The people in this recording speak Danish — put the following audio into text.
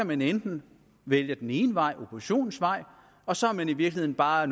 man enten vælge den ene vej oppositionens vej og så er man i virkeligheden bare